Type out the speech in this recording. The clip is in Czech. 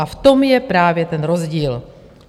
A v tom je právě ten rozdíl.